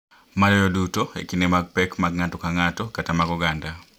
Maloyo duto e kinde mag pek mag ng’ato ka ng’ato kata mag oganda,